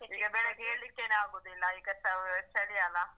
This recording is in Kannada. ಈಗ ಬೆಳಿಗ್ಗೆ ಏಳ್ಲಿಕ್ಕೆನೆ ಆಗುವುದಿಲ್ಲ ಈಗ ಚಳಿ ಅಲ್ಲ.